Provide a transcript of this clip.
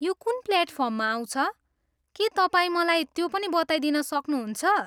यो कुन प्लेटफार्ममा आउँछ, के तपाईँ मलाई त्यो पनि बताइदिन सक्नुहुन्छ?